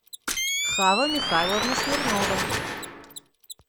хава михайловна смирнова